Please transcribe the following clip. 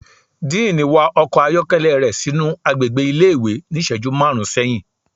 Diiní wa ọkọ ayọkẹlẹ rẹ sinu agbégbé ìlé-ìwé ni iṣẹju marún sẹhin